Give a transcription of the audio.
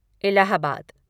Allahabad